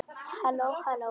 HALLÓ, HALLÓ.